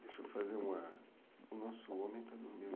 Deixa eu fazer uma... O nosso homem está dormindo.